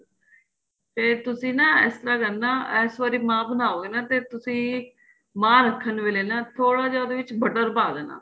ਤੇ ਤੁਸੀਂ ਨਾ ਇਸ ਤਰ੍ਹਾਂ ਕਰਨਾ ਇਸ ਵਾਰੀ ਮਹਾਂ ਬਣਾਉਗੇ ਨਾ ਤੇ ਤੁਸੀਂ ਮਹਾਂ ਰੱਖਣ ਵੇਲੇ ਨਾ ਥੋੜਾ ਜਾਂ ਉਹਦੇ ਵਿੱਚ butter ਪਾਂ ਦੇਣਾ